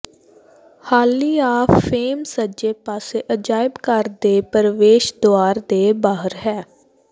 ਹਾਲੀ of fame ਸੱਜੇ ਪਾਸੇ ਅਜਾਇਬਘਰ ਦੇ ਪ੍ਰਵੇਸ਼ ਦੁਆਰ ਦੇ ਬਾਹਰ ਹੈ